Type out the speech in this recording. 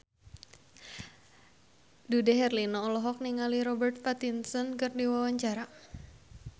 Dude Herlino olohok ningali Robert Pattinson keur diwawancara